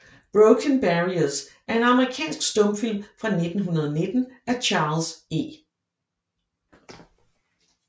Broken Barriers er en amerikansk stumfilm fra 1919 af Charles E